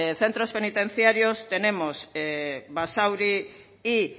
centros penitenciarios tenemos basauri y